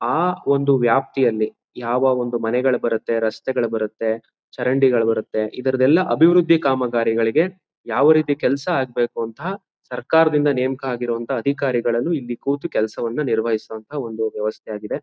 ಆ ಒಂದು ವ್ಯಾಪ್ತಿಯಲ್ಲಿ ಯಾವ ಒಂದು ಮನೆಗಳು ಬರುತ್ತೆ ರಸ್ತೆಗಳು ಬರುತ್ತೆ ಚರಂಡಿಗಳು ಬರುತ್ತೆ ಇದರದೆಲ್ಲ ಅಭಿರುದ್ದಿ ಕಾಮಕಾರಿಗಳಿಗೆ ಯಾವ್ ರೀತಿ ಕೆಲ್ಸ ಆಗ್ಬೇಕು ಅಂತ ಸರ್ಕಾರದಿಂದ ನೆಮಕ ಆಗಿರ್ವ ಅಧಿಕಾರಿಗಳನ್ನು ಇಲ್ಲಿ ಕೂತು ಕೆಲಸವನ್ನು ನಿರ್ವಹಿಸುವಂತಹ ಒಂದು ವ್ಯವಸ್ಥೆ ಆಗೇದೇ